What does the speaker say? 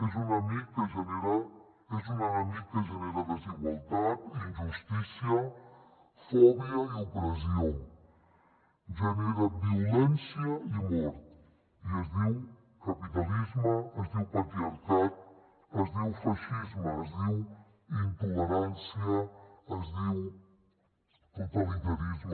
és un enemic que genera desigualtat injustícia fòbia i opressió genera violència i mort i es diu capitalisme es diu patriarcat es diu feixisme es diu intolerància es diu totalitarisme